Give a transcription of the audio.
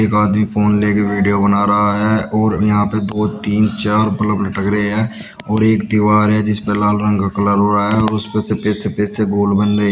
एक आदमी फ़ोन लेके वीडियो बना रहा है और यहाँ पे दो तीन चार बल्ब लटक रहे हैं और एक दीवार है जिसपे लाल रंग का कलर हुआ है और उसपे सफ़ेद सफ़ेद से गोल बन रहे --